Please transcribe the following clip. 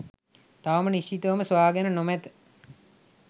තවම නිශ්චිතවම සොයාගෙන නොමැත.